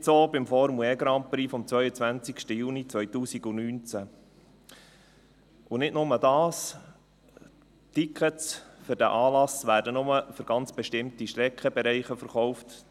Nicht so beim Formel-E-Grand-Prix vom 22. Juni 2019 und nicht nur das: Tickets für diesen Anlass werden nur für ganz bestimmte Streckenbereiche verkauft.